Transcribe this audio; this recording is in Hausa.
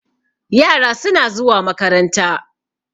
yara suna zuwa makaranta